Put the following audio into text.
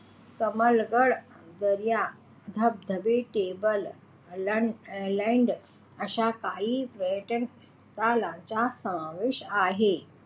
कमलगड दऱ्या धबधबे table land अश्या काही पर्यटन स्थळांचा समावेश आहे.